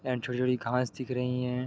And छोटी-छोटी घास दिख रही है।